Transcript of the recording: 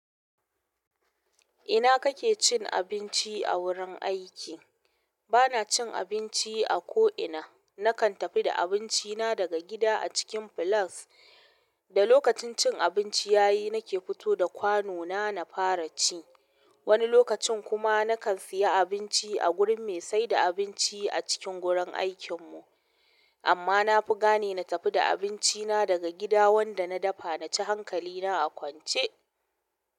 Ina kake cin abinci a wurin aiki? Bana cin abinci a ko'ina. Nakan tafi da abinci na a cikin flask da lokacin cin abinci yayi nike futo da kwanona in fara ci. Wani lokacin kuma nakan siya abinci a gurin me saida abinci a cikin gurin aikin mu. Amma na fi gane na tafi da abinci na daga gida wanda na dafa na ci hankali na a kwance.